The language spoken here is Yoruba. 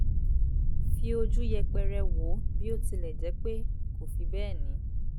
fi ojú yẹpẹrẹ wo bí o tilẹ̀ jẹ́ pẹ kò fi bẹ́ẹ̀ ní